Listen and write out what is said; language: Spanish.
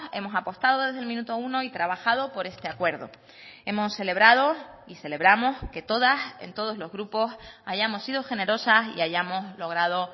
hemos apostado desde el minuto uno y trabajado por este acuerdo hemos celebrado y celebramos que todas en todos los grupos hayamos sido generosas y hayamos logrado